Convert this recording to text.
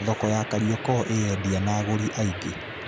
Thoko ya Kariokor ĩĩ endia na agũri aingĩ.